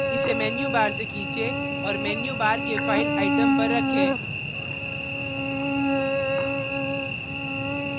इसेmenu bar से खींचे और menu bar के file item पर रखें